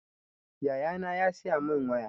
Yaya na ya siya mun waya